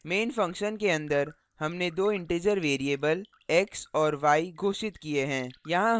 main function के अन्दर हमने दो integer variables x और y घोषित किए हैं